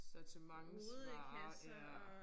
Sortimentsvarer ja